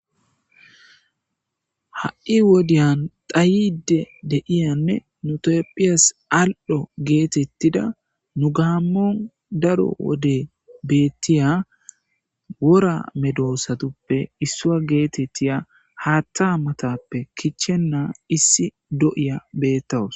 ha7i wodiyan dhayide de'iyanne nu tophiyas al'o geetettida nu gaammon daro wode beettiya wora medosatuppe issua geetettiya haatta matappe kichennaa issi do7iya beettawus.